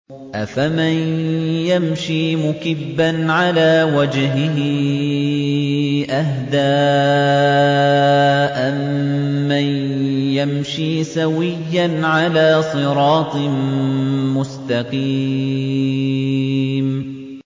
أَفَمَن يَمْشِي مُكِبًّا عَلَىٰ وَجْهِهِ أَهْدَىٰ أَمَّن يَمْشِي سَوِيًّا عَلَىٰ صِرَاطٍ مُّسْتَقِيمٍ